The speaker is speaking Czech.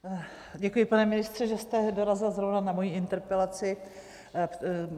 Děkuji, pane ministře, že jste dorazil zrovna na moji interpelaci.